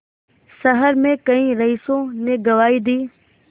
शहर में कई रईसों ने गवाही दी